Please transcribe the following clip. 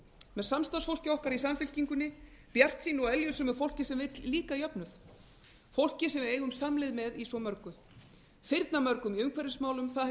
með samstarfsfólki okkar í samfylkingunni bjartsýnu og eljusömu fólki sem vill líka jöfnun fólki sem hið eigum samleið með í svo mörgu firnamörgu í umhverfismálum það